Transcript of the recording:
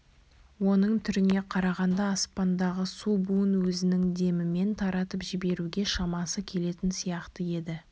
оның түріне қарағанда аспандағы су буын өзінің демімен таратып жіберуге шамасы келетін сияқты еді